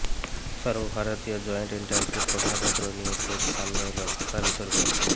সর্বভারতীয় জয়েন্ট এন্ট্রান্সের প্রশ্নপত্র নিয়ে ফের সামনে এল ভাষা বিতর্ক